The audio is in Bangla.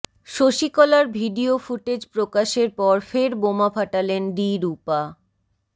শশীকলার ভিডিও ফুটেজ প্রকাশের পর ফের বোমা ফাটালেন ডি রূপা